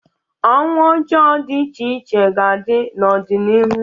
Ọnwụ ọjọọ dị iche iche ga-adị n'ọdịnihu